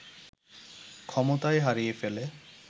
ক্ষমতাই হারিয়ে ফেলে